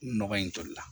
Nɔgɔ in toli la